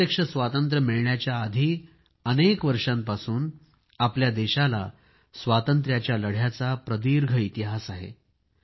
प्रत्यक्ष स्वातंत्र्य मिळण्याच्या आधी अनेक वर्षांपासून आपल्या देशाला स्वातंत्र्याच्या लढ्याचा प्रदीर्घ इतिहास आहे